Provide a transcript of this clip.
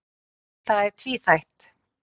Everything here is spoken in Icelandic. Það sé tvíþætt.